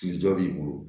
Kilijɔ b'i bolo